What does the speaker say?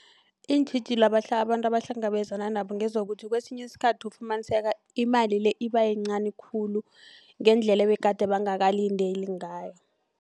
Iintjhijilo abantu abahlangabezanabo ngezokuthi kwesinye isikhathi ufumaniseka imali le ibayincani khulu ngendlela ebegade bekangakalindeli ngayo.